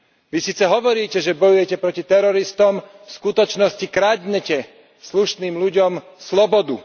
Vy síce hovoríte, že bojujete proti teroristom, v skutočnosti kradnete slušným ľuďom slobodu.